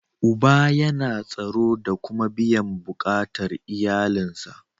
Uba yana tsaro da kuma biyan bukatar iyalin sa.